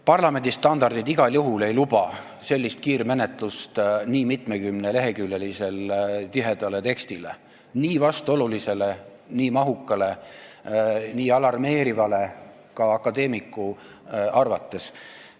Parlamendi standardid ei luba igal juhul kiirmenetlust mitmekümne lehekülje pikkuse tiheda teksti puhul, mis on nii vastuoluline, nii mahukas ja nii alarmeeriv ka akadeemiku arvates.